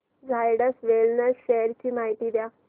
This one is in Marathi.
झायडस वेलनेस शेअर्स ची माहिती द्या